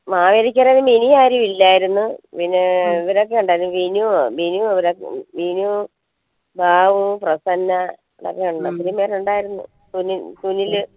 മാവേലിക്കര മിനി ആരു ഇല്ലായിരുന്നു പിന്നേ ഇവരൊക്കെ ഇണ്ടായിരുന്നു വിനു വിനു ബാബു പ്രസന്ന ഇവരൊക്കെ ഉണ്ടായിരുന്നു സുനിൽ സുനില്